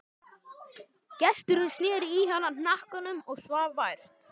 Gesturinn sneri í hana hnakkanum og svaf vært.